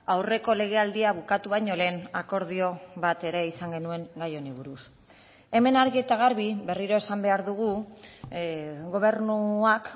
aurreko legealdia bukatu baino lehen akordio bat ere izan genuen gai honi buruz hemen argi eta garbi berriro esan behar dugu gobernuak